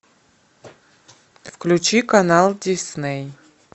включи канал дисней